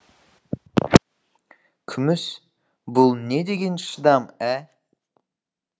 күміс бұл не деген шыдам ә